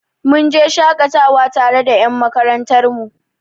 Mun je shaƙatawa tare da ƴan makarantar mu.